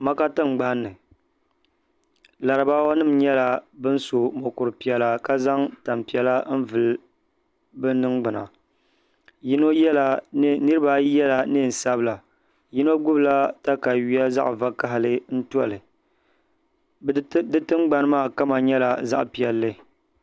Maka tingbanni laribaawa nima nyɛla ban so mokuru piɛla ka zaŋ tampiɛla n vili bɛ ningbina niriba ayi yela niɛn'sabila yino gnibi la takawiya zaɣa vakahali n toli di tingbani maa kama nyɛla zaɣa piɛlli.